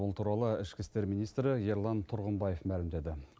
бұл туралы ішкі істер министрі ерлан тұрғымбаев мәлімдеді